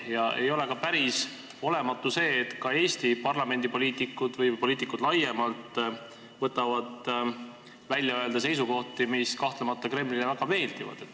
Ja päris olematu ei ole seegi, et ka Eesti parlamendipoliitikud või poliitikud laiemalt võtavad välja öelda seisukohti, mis kahtlemata Kremlile väga meeldivad.